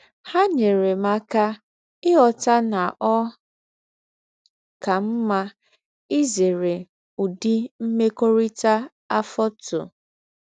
Há nyèrè m áká íghọ́tà nà ọ́ kà mmá ízèré ứdị̀ mmékọ́rítà àfọ́tụ̀.